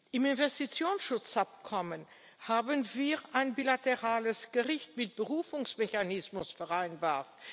Im Investitionsschutzabkommen haben wir ein bilaterales Gericht mit Berufungsmechanismus vereinbart.